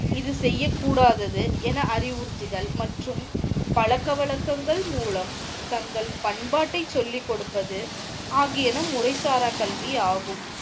இது செய்ய கூடாது என அறிவுறுத்தல் மற்றும் பழக்கவழக்கங்கள் மூலம் தங்கள் பண்பாட்டை சொல்லி கொடுப்பது ஆகியன முறைசாரா கல்வியாகும்.